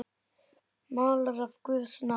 Málari af guðs náð.